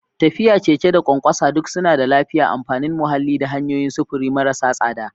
Tafiya, keke, da ƙwanƙwasa duk suna da lafiya, amfanin muhalli, da hanyoyin sufuri marasa tsada.